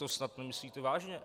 To snad nemyslíte vážně"